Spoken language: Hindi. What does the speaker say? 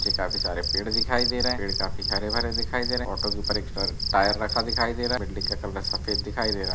ये काफी सारे पेड़ दिखाई दे रहे हैं पेड़ काफी हरे-भरे दिखाई दे रहे हैं। ऑटो के ऊपर एक्स्ट्रा टायर रखा दिखाई दे रहा है। बिल्डिंग का कलर सफ़ेद दिखाई दे रहा है।